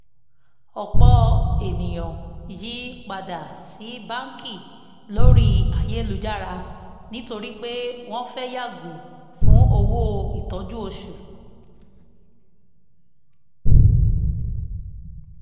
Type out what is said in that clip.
ọ̀pọ̀ ènìyàn yí padà sí banki lórí ayélujára nítorí pé wọ́n fẹ́ yàgò fún owó ìtọ́jú oṣù